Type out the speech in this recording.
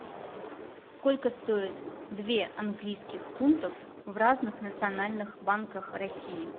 сколько стоит две английских фунтов в разных национальных банках россии